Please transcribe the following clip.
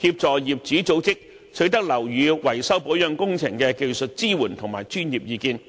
協助業主組織取得樓宇維修保養工程的技術支援及專業意見。